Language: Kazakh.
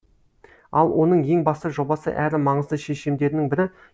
ал оның ең басты жобасы әрі маңызды шешімдерінің бірі